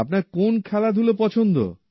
আপনার কি কোন খেলাধুলো পছন্দ